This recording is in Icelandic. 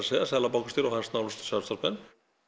segja seðlabankastjóri og hans nánustu samstarfsmenn